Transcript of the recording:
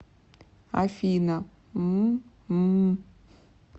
афина мм ммм